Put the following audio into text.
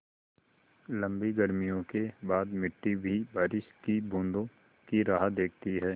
लम्बी गर्मियों के बाद मिट्टी भी बारिश की बूँदों की राह देखती है